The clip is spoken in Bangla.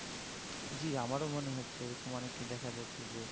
জ্বী আমারো মনে হচ্ছে অনেকে দেখা যাচ্ছে যে